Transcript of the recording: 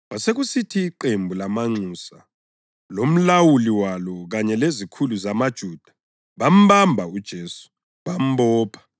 Kwasekusithi iqembu lamanxusa lomlawuli walo kanye lezikhulu zamaJuda bambamba uJesu. Bambopha,